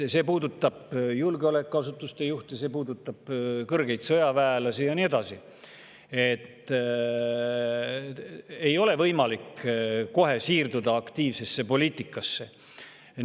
See puudutab julgeolekuasutuste juhte, see puudutab kõrgeid sõjaväelasi ja ei ole kohe võimalik aktiivsesse poliitikasse siirduda.